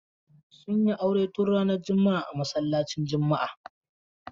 Sun yi aure tun ranar juma'a a masallacin juma'a.